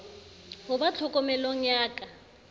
ho ba tlhokomelong ya ka